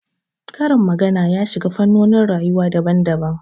Karin magana ya shiga fannonin rayuwa daban daban